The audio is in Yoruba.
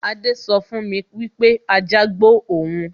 Adé sọ fún mi wípé ajá gbó òun